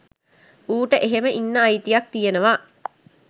ඌට එහෙම ඉන්න අයිතියක් තියෙනවා